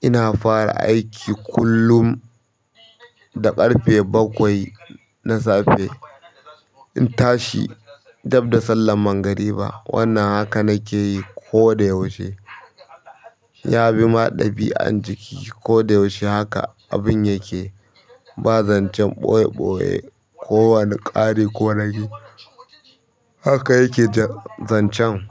Ina fara aiki kullum da ƙarfe bakwai na safe. In tashi, dab da sallan magari ba. Wannan haka nake yi koda yaushe. Ya bi ma ɗabi'an jiki. Koda yaushe haka abin yake. Ba zancen ɓoye ɓoye ko wani ƙari ko ragi. Haka yake zancen.